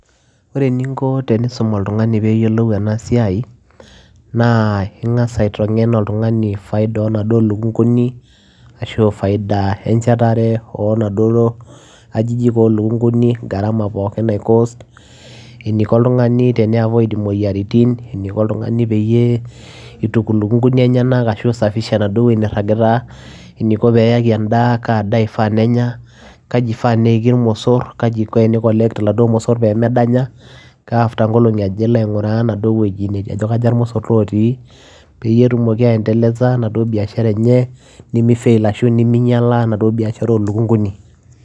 Ore eninko tenisum oltungani peyiolou ena siai ,naa ingas aitengen oltungani peyiolou faida onaduoo lukunguni ashua faida enaduoo shetare onaduoo ajijik olukunguni , gharama pookin nai cost eniko oltungani teni [c]avoid imoyiaritin, eniko oltungani peyie ituku ilukunguni enyenak ashua isafisha enaduo wueji niragita ,eniko peyaki endaa , kaa daa ifaa nenya , kaji ifaa neiki irmosor, kaji iko teni collect iladuoo mosor pemedanya, ka after nkolongi aja elo ainguraa enaduoo wueji aja kaja irmosor otii ,peyie etumoki aendeleza enaduo biashara enye nimi fail ashu niminyiala enaduoo baiashara olukunguni.